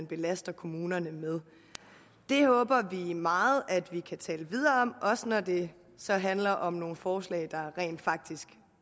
belaster kommunerne med det håber vi meget at vi kan tale videre om også når det så handler om nogle forslag der rent faktisk